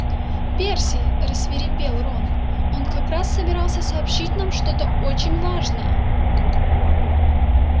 перси рассвирепел рон она как раз собиралась сообщить нам что-то очень важное